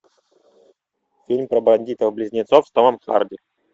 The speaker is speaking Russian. фильм про бандитов близнецов с томом харди